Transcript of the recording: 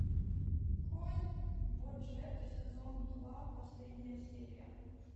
конь боджек сезон два последняя серия